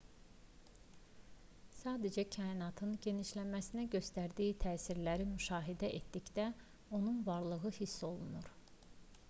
sadəcə kainatın genişləməsinə göstərdiyi təsirləri müşahidə etdikdə onun varlığı hiss olunur